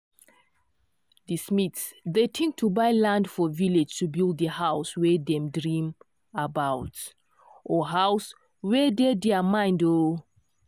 di smiths dey think to buy land for village to build the house wey dem dream about or house wey dey dere mind um